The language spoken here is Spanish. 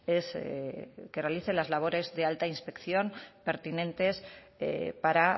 es que realice las labores de alta inspección pertinentes para